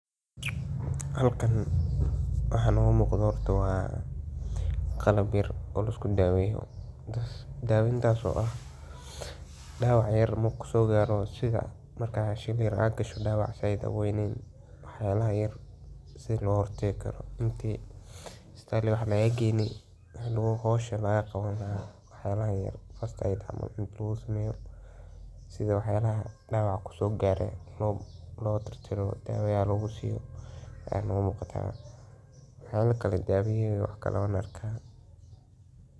Halkan waxa muqdo waxa weye ,qalab yar oo laisku daweyo,"Dawacyada yaryar waa xayawaan u nugul xanuunnada iyo dhaawacyada, sidaa darteed waa muhiim in si taxaddar leh loo daryeelo haddii ay bukoodaan ama wax ku dhacaan. Marka la arko calaamado muujinaya in dawac yar uu xanuunsan yahay – sida in uu noqdo mid aan firfircoonayn, uu neef qaadkiisu is beddelo, ama uu wax cuni waayo – waxaa lagama maarmaan ah.